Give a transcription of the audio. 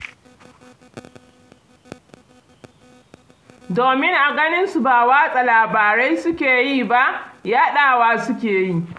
Domin a ganinsu ba watsa labarai suke yi ba, yaɗa wa suke yi.